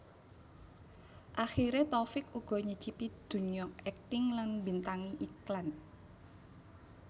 Akhiré Taufik uga nyicipi dunya akting lan mbintangi iklan